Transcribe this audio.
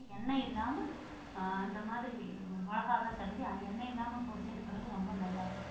எண்ணெய் இல்லாம அஹ் அந்த மாதிரி மிளகாய் எல்லாம் தடவி எண்ணெய் இல்லாம பொரிச்சு எடுக்குறது ரொம்ப நல்லா இருக்கும்